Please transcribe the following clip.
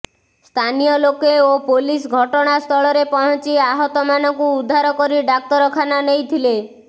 ସ୍ଥାନୀୟ ଲୋକେ ଓ ପୋଲିସ ଘଟଣା ସ୍ଥଳରେ ପହଞ୍ଚି ଆହତମାନଙ୍କୁ ଉଦ୍ଧାର କରିଡାକ୍ତରଖାନା ନେଇଥିଲେ